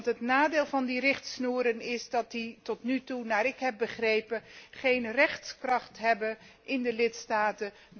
Het nadeel van die richtsnoeren is immers dat die tot nu toe, naar ik heb begrepen, geen rechtskracht hebben in de lidstaten.